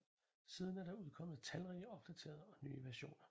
Siden er der udkommet talrige opdaterede og nye versioner